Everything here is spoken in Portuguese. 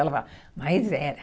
Ela fala, mas era.